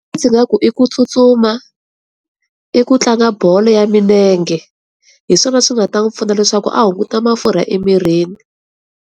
Ndzi nga ku i ku tsutsuma, i ku tlanga bolo ya milenge hi swona swi nga ta n'wi pfuna leswaku a hunguta mafurha emirini.